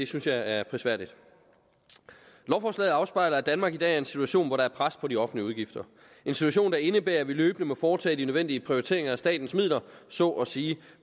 synes jeg er prisværdigt lovforslaget afspejler at danmark i dag er i en situation hvor der er pres på de offentlige udgifter en situation der indebærer at vi løbende må foretage de nødvendige prioriteringer af statens midler så at sige